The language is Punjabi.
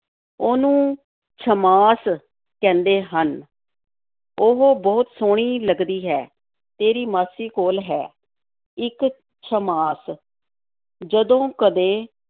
ਉਹਨੂੰ ਛੱਮਾਸ ਕਹਿੰਦੇ ਹਨ, ਉਹ ਬਹੁਤ ਸੋਹਣੀ ਲੱਗਦੀ ਹੈ, ਤੇਰੀ ਮਾਸੀ ਕੋਲ ਹੈ, ਇੱਕ ਛੱਮਾਸ ਜਦੋਂ ਕਦੇ